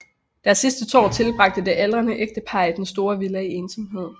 Deres sidste år tilbragte det aldrende ægtepar i den store villa i ensomhed